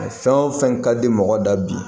Fɛn o fɛn ka di mɔgɔ da bi